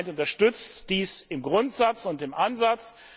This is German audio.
Das Parlament unterstützt dies im Grundsatz und im Ansatz.